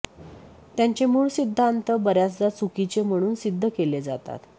त्यांचे मूळ सिद्धांत बऱ्याचदा चुकीचे म्हणून सिद्ध केले जातात